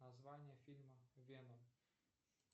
название фильма веном